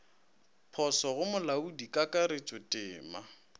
poso go molaodi kakaretšo temo